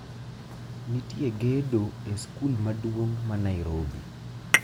nitie gedo e skul maduong' ma Nairobi